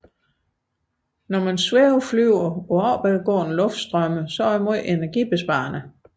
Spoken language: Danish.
At svæveflyve på opadgående luftstrømme er meget energibesparende